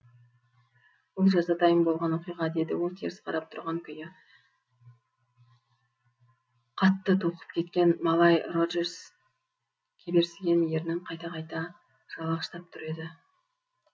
бұл жазатайым болған оқиға деді ол теріс қарап тұрған күйі қатты толқып кеткен малай роджерс кеберсіген ернін қайта қайта жалағыштап түр еді